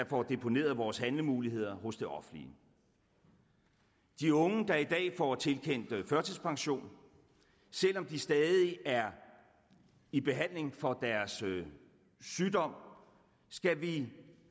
får deponeret vores handlemuligheder hos det offentlige de unge der i dag får tilkendt førtidspension selv om de stadig er i behandling for deres sygdom skal vi